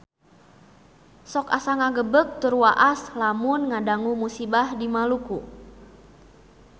Sok asa ngagebeg tur waas lamun ngadangu musibah di Maluku